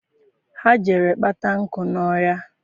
Ha jere kpata nkụ n'ọhịa.